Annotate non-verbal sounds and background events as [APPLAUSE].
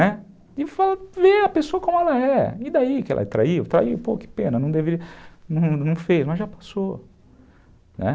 Né, [UNINTELLIGIBLE] e ver a pessoa como ela é, e daí que ela traiu, traiu, pô, que pena, não deveria, não fez, mas já passou, né.